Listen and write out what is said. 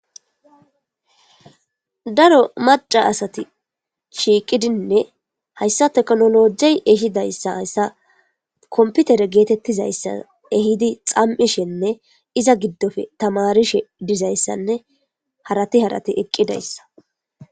daro maca asati shiiqidinne hayssa teknolojey ehidayssa hassa komputere geetettizayssa ehidi xam7ishenne iza giddofe tamarishe dizayssanne harati harati eqqidayssa